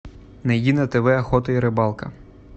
найди на тв охота и рыбалка